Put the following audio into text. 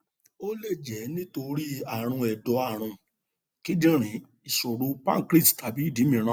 ó lè jẹ nítorí ààrùn ẹdọ ààrùn kíndìnrín ìṣòro páncreatic tàbí ìdí mìíràn